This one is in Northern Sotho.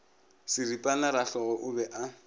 seripana rahlogo o be a